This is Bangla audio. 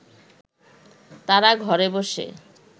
তারা ঘরে বসে